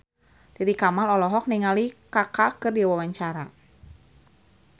Titi Kamal olohok ningali Kaka keur diwawancara